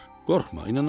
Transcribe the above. Qorxma, inanacaq.